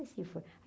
Assim foi.